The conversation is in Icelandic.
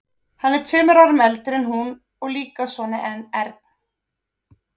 Hann er tveimur árum eldri en hún og líka svona ern.